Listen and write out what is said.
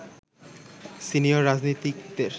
senior রাজনীতিকদের